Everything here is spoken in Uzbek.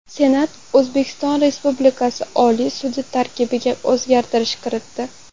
Senat O‘zbekiston Respublikasi Oliy sudi tarkibiga o‘zgartishlar kiritdi.